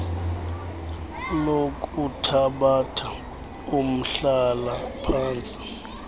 lokuthabatha umhlala phantsi